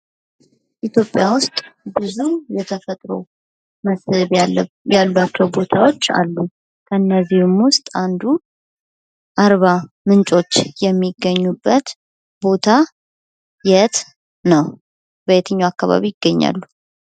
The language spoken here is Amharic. ኢትዮጵያ ውስጥ ብዙ የተፈጥሮ መስህብ ያላቸው ቦታዎች አሉ። ከእነዚሁ ውስጥ አንዱ አርባ ምንጮች የሚገኙበት ቦታ የት ነው? በየትኛው አካባቢ ይገኛሉ?